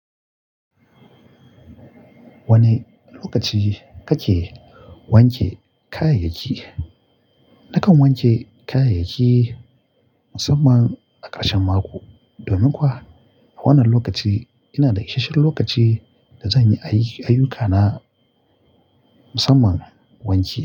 Wane lokaci kake wanke kayayyaki? Nakan wanke kayayyaki musamman a ƙarshan mako domin kuwa wannan lokaci yana da isasshen lokaci da zan yi ayuka na musamman wanki.